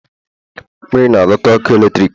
mmiri na- adota ọkụ eletrik